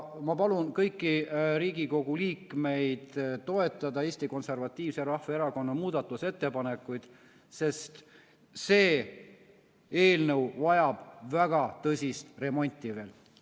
Ma palun kõiki Riigikogu liikmeid toetada Eesti Konservatiivse Rahvaerakonna muudatusettepanekuid, sest see eelnõu vajab väga tõsist remonti veel.